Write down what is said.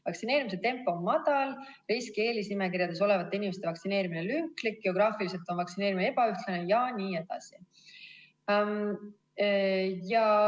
Vaktsineerimise tempo on madal, riski- ja eelisnimekirjades olevate inimeste vaktsineerimine lünklik, geograafiliselt on vaktsineerimine ebaühtlane jne.